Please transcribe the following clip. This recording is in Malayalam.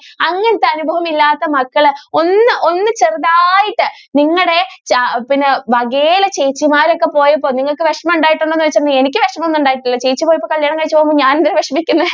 അങ്ങനത്തെ അനുഭവം ഇല്ലാത്ത മക്കൾ ഒന്ന് ഒന്ന് ചെറുതായിട്ട് നിങ്ങളുടെ പിന്നെ വകയിലെ ചേച്ചിമാരൊക്കെ പോയപ്പോൾ നിങ്ങൾക്ക് വിഷമം ഉണ്ടായിട്ടുണ്ടോ എന്ന് ചോദിച്ചാൽ എനിക്ക് വിഷമം ഒന്നും ഉണ്ടായിട്ടില്ല ചേച്ചി ഇപ്പൊ കല്യാണം കഴിച്ചു പോകുന്നതിൽ ഞാൻ എന്തിനാ വിഷമിക്കുന്നത്.